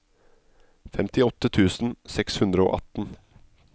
femtiåtte tusen seks hundre og atten